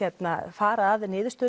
fara að niðurstöðu